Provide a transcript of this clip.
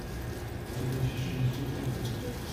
передача шансон тв